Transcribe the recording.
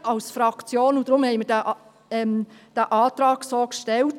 Deshalb haben wir diesen Antrag so gestellt.